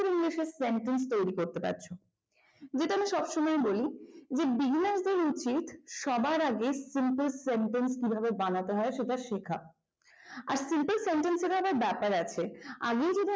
তোমরা নিজেরাই sentence তৈরি করতে পারছ যেটা আমি সবসময়ই বলি যে উচিত সবার আগে simple sentence এর ও কি করে বানাতে হয় সেটা শেখা আর simple sentence অনেক ব্যাপার আছে আর main যেটা হচ্ছে